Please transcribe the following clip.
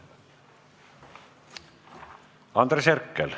Andres Herkel.